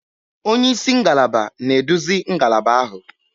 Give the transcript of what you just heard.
Onye isi ngalaba na-eduzi ngalaba ahụ.